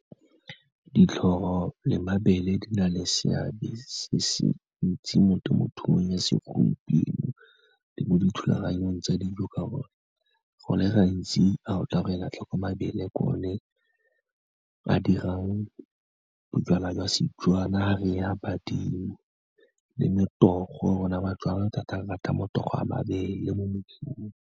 Ditlhoro le mabele di na le seabe se se ntsi mo temothuong ya segompieno le mo dithulaganyong tsa dijo ka gonne, go le gantsi fa otla go e la tlhoko, mabele ke one a dirang bojalwa jwa Setswana, fa re a badimo, le motogo rona batswana thata re rata motogo wa mabele mo mosong.